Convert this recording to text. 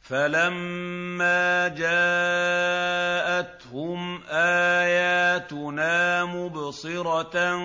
فَلَمَّا جَاءَتْهُمْ آيَاتُنَا مُبْصِرَةً